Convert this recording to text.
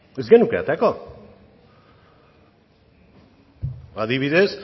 ez genuke aterako ba adibidez